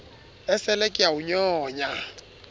esele ke a o nyonya